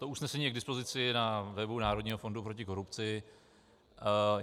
To usnesení je k dispozici na webu Národního fondu proti korupci.